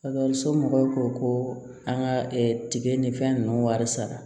somɔgɔw ko ko an ka tiga ni fɛn ninnu wari sara